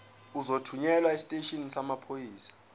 uzothunyelwa esiteshini samaphoyisa